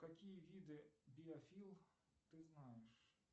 какие виды биофил ты знаешь